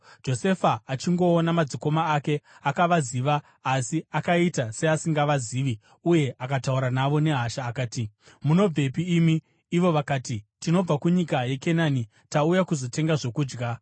Josefa achingoona madzikoma ake, akavaziva, asi akaita seasingavazivi uye akataura navo nehasha. Akati, “Munobvepi imi?” Ivo vakati, “Tinobva kunyika yeKenani, tauya kuzotenga zvokudya.”